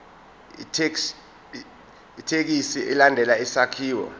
ithekisthi ilandele isakhiwo